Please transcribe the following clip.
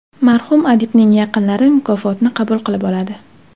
Marhum adibning yaqinlari mukofotni qabul qilib oladi.